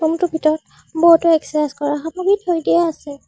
ৰূমটোৰ ভিতৰত বহুতো এক্সেছাইজ কৰা সামগ্ৰী থৈ দিয়া আছে।